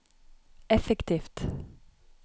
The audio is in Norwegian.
effektivt